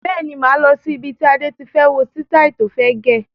Bẹ́ẹ̀ni, máa lọ sí ibi tí Adé tí fẹ́ wo sitai tó fẹ́ gẹ̀.